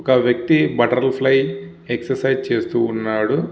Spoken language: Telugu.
ఒక వ్యక్తి బటర్ఫ్లై ఎక్సర్సైజ్ చేస్తూ ఉన్నాడు.